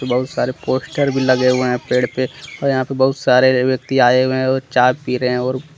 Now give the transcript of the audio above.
बहुत सारे पोस्टर भी लगे हुए है पेड़ पे और यहां पे बहुत सारे व्यक्ति आए हुए है और चाय पी रहे है और--